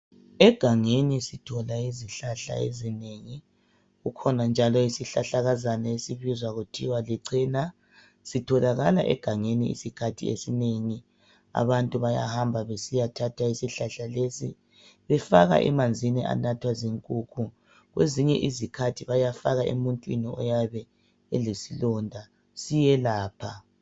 Egangeni sithola izihlahla ezinengi. Kukhona njalo isihlahlakazana esibizwa kuthiwa licena. Sitholakala egangeni, izikhathi ezinengi. Sifakwa emanzini anathwa zinkukhu. Kwesinye isikhathi bayafaka emuntwini oyabe elesilonda. Siyelapha.